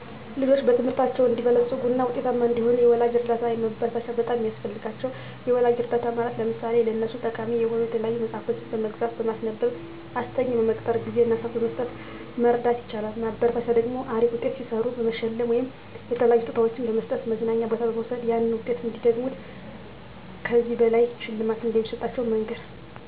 ልጆች በትምህርታቸው አንዲበለጽጉ እና ውጤታማ እንዲሆኑ የወላጅ እርዳታ እና ማበረታቻ በጣም ነው ሚያስፈልጋቸው። የወላጅ እርዳታ ማለት ለምሳሌ ለነሱ ጠቃሚ የሆኑ የተለያዩ መፅሐፍቶችን በመግዛት፣ በማስነበብ፣ አስጠኝ በመቅጠር፣ ጊዜ እና ስዓት በመስጠት መርዳት ይቻላል። ማበረታቻ ደግሞ አሪፍ ውጤት ሲሰሩ በመሸለም ወይም የተለያዩ ስጦታዎችን በመስጠት፣ መዝናኛ ቦታ በመውሰድ ያንን ውጤት እንዲደግሙት እን ከዚህ በላይ ሽልማት እንደሚሰጣቸው መንገር